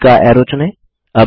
बीच का ऐरो चुनें